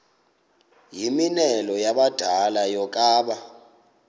yimianelo yabadala yokaba